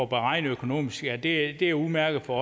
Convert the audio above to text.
beregnet økonomisk at det er udmærket for